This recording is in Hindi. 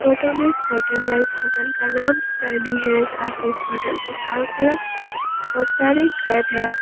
फोटो में होटल है इस होटल का नाम सैनी है साथ ही इस होटल के चारो तरफ बहोत सारे घर है।